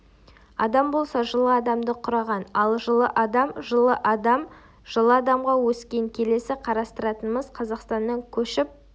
адам болса жылы адамды құраған ал жылы адам жылы адам жылы адамға өскен келесі қарастыратынымыз қазақстаннан көшіп